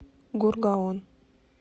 гургаон